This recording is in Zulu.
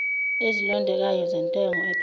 ezilondekayo zentengo ephansi